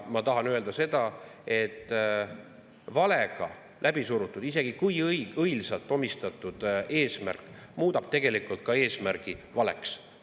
Ma tahan öelda seda, et valega läbisurumine, isegi kui sellele on omistatud õilis eesmärk, muudab tegelikult ka eesmärgi valeks.